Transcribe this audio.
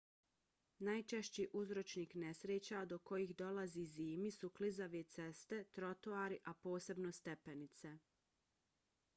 najčešći uzročnik nesreća do kojih dolazi zimi su klizave ceste trotoari a posebno stepenice